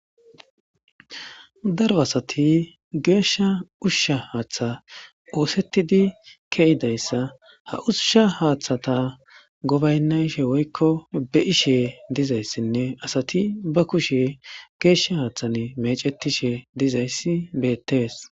Daro asati geeshsha ushusha haaththa oosettidi keyidayssa ha ushsha haaththata gobaynna ishe woykko be ishe dizayssinne asati ba kushe geeshsha haaththan mecetishe dizayssi beettees